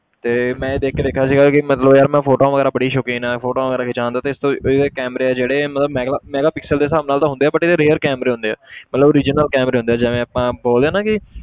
ਤੇ ਮੈਂ ਇਹ ਦੇਖ ਦੇਖਿਆ ਸੀਗਾ ਕਿ ਮਤਲਬ ਯਾਰ ਮੈਂ photos ਵਗ਼ੈਰਾ ਬੜੀ ਸ਼ੌਕੀਨ ਹੈ photos ਵਗ਼ੈਰਾ ਖਿਚਵਾਉਣ ਦਾ ਤੇ ਇਸ ਤੋਂ ਇਹਦੇ camera ਆ ਜਿਹੜੇ ਇਹ ਮੈਗਲਾ megapixel ਦੇ ਹਿਸਾਬ ਨਾਲ ਹੁੰਦੇ ਆ but ਇਹਦੇ rare camera ਹੁੰਦੇ ਆ ਮਤਲਬ original camera ਹੁੰਦੇ ਆ ਜਿਵੇਂ ਆਪਾਂ ਬੋਲਦੇ ਹਾਂ ਨਾ ਕਿ